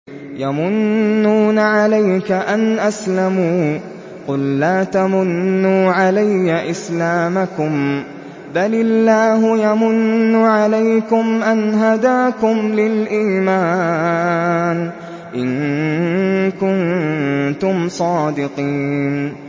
يَمُنُّونَ عَلَيْكَ أَنْ أَسْلَمُوا ۖ قُل لَّا تَمُنُّوا عَلَيَّ إِسْلَامَكُم ۖ بَلِ اللَّهُ يَمُنُّ عَلَيْكُمْ أَنْ هَدَاكُمْ لِلْإِيمَانِ إِن كُنتُمْ صَادِقِينَ